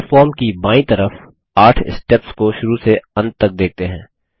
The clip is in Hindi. अपने फॉर्म की बायीं तरफ 8 स्टेप्स को शुरू से अंत तक देखते हैं